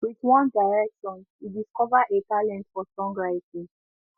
with one direction e discover a talent for songwriting